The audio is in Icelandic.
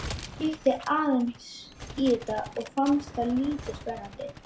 Ég kíkti aðeins í þetta en fannst það lítið spennandi.